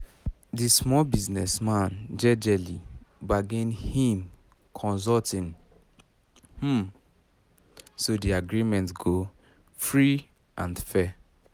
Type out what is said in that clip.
the small business man jejely bargain him consulting um so that the agreement go free and fair